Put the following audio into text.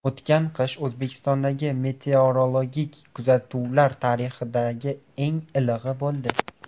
O‘tgan qish O‘zbekistondagi meteorologik kuzatuvlar tarixidagi eng ilig‘i bo‘ldi.